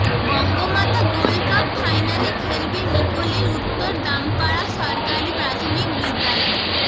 Bangamata gold cup ফাইনালে খেলবে নিকলীর উত্তর দামপাড়া সরকারি প্রাথমিক বিদ্যালয়